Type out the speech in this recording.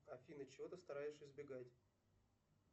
афина чего ты стараешься избегать